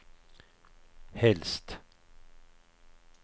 helst